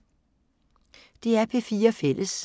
DR P4 Fælles